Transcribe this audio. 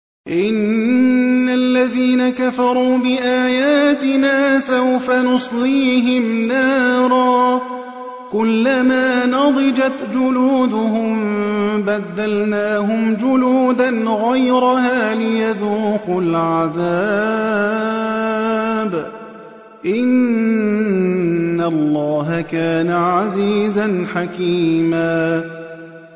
إِنَّ الَّذِينَ كَفَرُوا بِآيَاتِنَا سَوْفَ نُصْلِيهِمْ نَارًا كُلَّمَا نَضِجَتْ جُلُودُهُم بَدَّلْنَاهُمْ جُلُودًا غَيْرَهَا لِيَذُوقُوا الْعَذَابَ ۗ إِنَّ اللَّهَ كَانَ عَزِيزًا حَكِيمًا